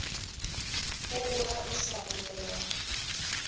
ho bora e sa bolelwang